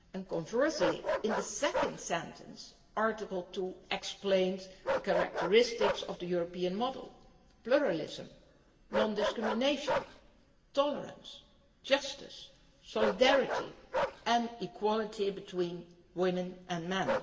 Conversely, in the second sentence, Article 2 explains the characteristics of the European model pluralism, non discrimination, tolerance, justice, solidarity and equality between women and men